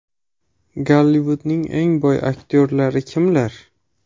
Gollivudning eng boy aktyorlari kimlar?.